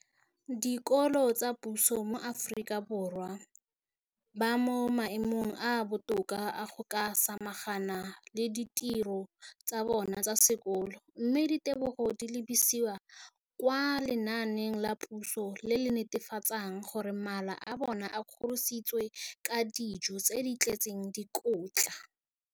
Dikolo tsa puso mo Aforika Borwa ba mo maemong a a botoka a go ka samagana le ditiro tsa bona tsa sekolo, mme ditebogo di lebisiwa kwa lenaaneng la puso le le netefatsang gore mala a bona a kgorisitswe ka dijo tse di tletseng dikotla.